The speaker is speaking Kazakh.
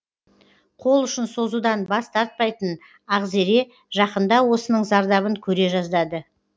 қол ұшын созудан бас тартпайтын ақзере жақында осының зардабын көре жаздады